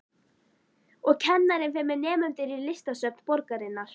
Og kennarinn fer með nemendur í listasöfn borgarinnar.